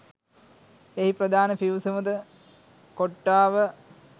එහි ප්‍රධාන පිවිසුමද කොට්‌ටාව